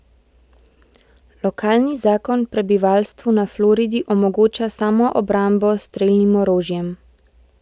Lokalni zakon prebivalstvu na Floridi omogoča samoobrambo s strelnim orožjem.